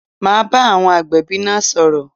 Ma bá àwọn agbẹ̀bí náà sọ̀rọ̀